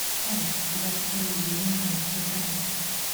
салют запись на неделе на коррекцию бровей